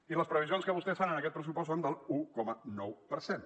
i les previsions que vostès fan en aquest pressupost són de l’un coma nou per cent